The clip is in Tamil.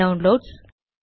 டவுன்லோட்ஸ்